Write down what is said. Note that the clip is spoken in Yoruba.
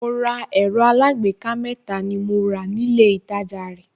Mo ra ẹ̀rọ alágbèéká mẹ́ta ni mo rà nílé ìtajà rẹ̀